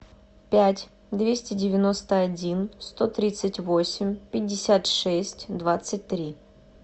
пять двести девяносто один сто тридцать восемь пятьдесят шесть двадцать три